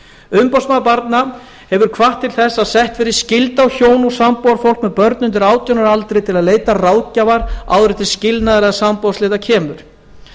umboðsmaður barna hefur hvatt til að sett verði skylda á hjón og sambúðarfólk með börn undir átján ára aldri til að leita ráðgjafar áður en til skilnaðar eða sambúðarslita kemur